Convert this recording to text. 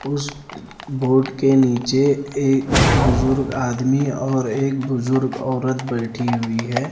उस बोर्ड के नीचे एक बुजुर्ग आदमी और एक बुजुर्ग औरत बैठी हुई है।